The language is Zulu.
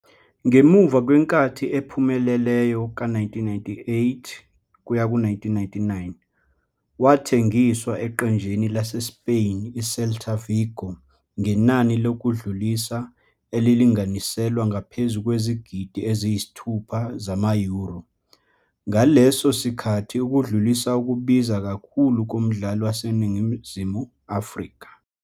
Ngemuva kwenkathi ephumelelayo ka-1998-99, wathengiswa eqenjini laseSpain i-Celta Vigo ngenani lokudlulisa elilinganiselwa ngaphezu kwezigidi ezingu-6 zama-euro, ngaleso sikhathi ukudlulisa okubiza kakhulu komdlali waseNingizimu Afrika.